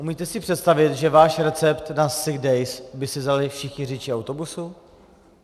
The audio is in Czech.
Umíte si představit, že váš recept na sick days by si vzali všichni řidiči autobusů?